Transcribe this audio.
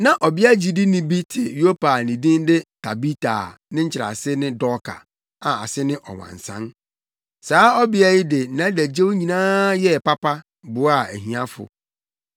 Na ɔbea ogyidini bi te Yopa a ne din de Tabita a ne nkyerɛase ne Dorka a ase ne ɔwansan. Saa ɔbea yi de nʼadagyew nyinaa yɛɛ papa, boaa ahiafo.